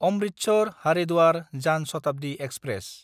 अमृतसर–हारिद्वार जान शताब्दि एक्सप्रेस